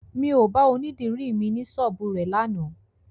Mi ò bá onídìri mi ní ṣọ́ọ́bù rẹ̀ lánàá